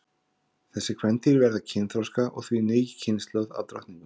Þessi kvendýr verða kynþroska og því ný kynslóð af drottningum.